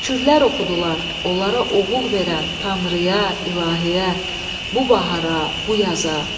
Şükürlər oxudular onlara oğul verən Tanrıya, İlahiyə, bu bahara, bu yaza.